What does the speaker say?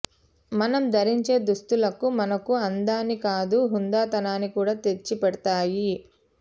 మనం ధరించే దుస్తులకు మనకు అందాన్నే కాదు హూందాతనాన్ని కూడా తెచ్చిపెడతాయి